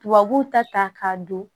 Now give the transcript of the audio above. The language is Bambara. Tubabuw ta ta k'a don